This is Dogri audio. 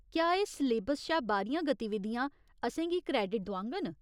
क्या एह् सलेबस शा बाह्‌रियां गतिविधियां असेंगी क्रेडिट दोआङन ?